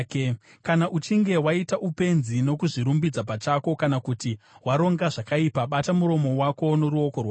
“Kana uchinge waita upenzi nokuzvirumbidza pachako, kana kuti waronga zvakaipa, bata muromo wako noruoko rwako!